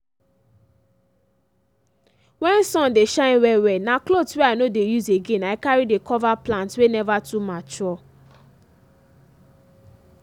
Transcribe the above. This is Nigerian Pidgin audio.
when sun dey shine well-well na clothes wey i no dey use again i carry dey cover plants wey never too mature.